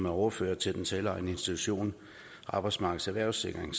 overføres til den selvejende institution arbejdsmarkedets erhvervssikring